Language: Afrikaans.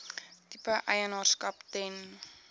tipe eienaarskap ten